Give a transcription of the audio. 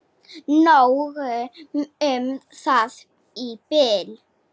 Nóg um það í bili.